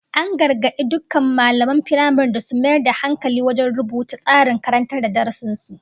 An gargadi dukkan mallaman firamaren da su mayar da hankali wajen rubuta tsarin karantar da darussan su